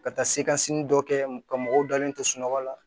Ka taa se kasimini dɔ kɛ ka mɔgɔw dalen to sunɔgɔ la